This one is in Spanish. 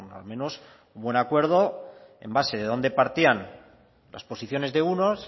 al menos un buen acuerdo en base de dónde partían las posiciones de unos